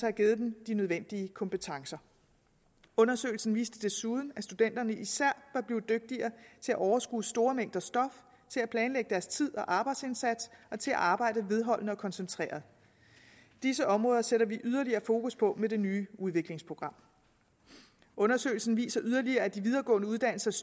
har givet dem de nødvendige kompetencer undersøgelsen viste desuden at studenterne især var blevet dygtigere til at overskue store mængder stof til at planlægge deres tid og arbejdsindsats og til at arbejde vedholdende og koncentreret disse områder sætter vi yderligere fokus på med det nye udviklingsprogram undersøgelsen viser yderligere at de videregående uddannelsers